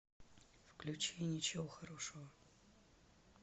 включи ничего хорошего